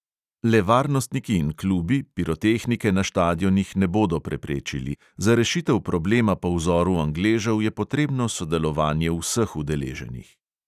Le varnostniki in klubi pirotehnike na štadionih ne bodo preprečili, za rešitev problema po vzoru angležev je potrebno sodelovanje vseh udeleženih.